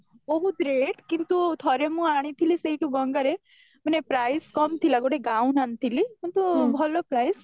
ବହୁତ rate କିନ୍ତୁ ଥରେ ମୁଁ ଆଣିଥିଲି ସେଇଠୁ ଗଙ୍ଗାରେ ମାନେ price କମ ଥିଲା ଗୋଟେ gown ଆଣିଥିଲି କିନ୍ତୁ ଭଲ price